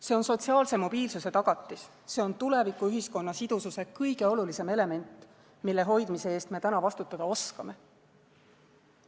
See on sotsiaalse mobiilsuse tagatis, see on tuleviku ühiskonna sidususe kõige olulisem element, mille hoidmise eest me praegu vastutada oskame.